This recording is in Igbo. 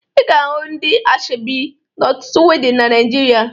Ị ga-ahụ ndị ashebi n'ọtụtụ wedịn na Naịjirịa